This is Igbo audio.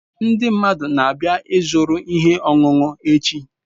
Ndị mmadụ na-abịa ịzụrụ ihe ọṅụṅụ echi